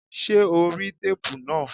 Ṣé o rí téépù náà?